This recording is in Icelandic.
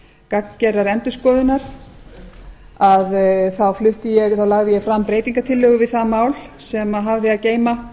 gagngerðrar endurskoðunar lagði ég fram breytingartillögu við það mál sem hafði að geyma